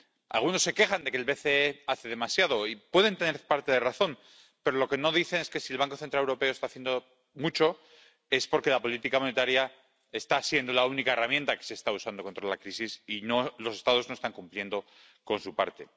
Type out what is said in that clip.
Algunos se quejan de que el BCE hace demasiado, y pueden tener parte de razón, pero lo que no dicen es que, si el Banco Central Europeo está haciendo mucho, es porque la política monetaria está siendo la única herramienta que se está usando contra la crisis y los Estados no están cumpliendo con su parte.